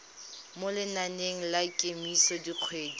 mo lenaneng la kemiso dikgwedi